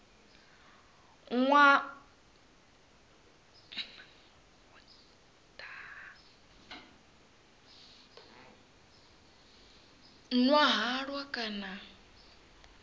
nwa halwa kana vho daha